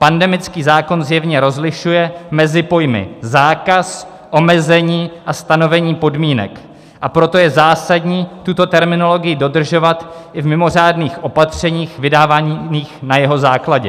Pandemický zákon zjevně rozlišuje mezi pojmy zákaz, omezení a stanovení podmínek, a proto je zásadní tuto terminologii dodržovat i v mimořádných opatřeních vydávaných na jeho základě.